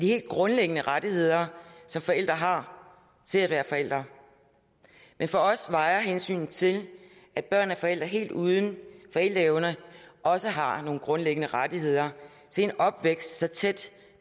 helt grundlæggende rettigheder som forældre har til at være forældre men for os vejer hensynet til at børn af forældre helt uden forældreevner også har nogle grundlæggende rettigheder til en opvækst så tæt